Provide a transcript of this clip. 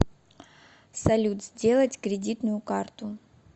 салют сделать кредитную карту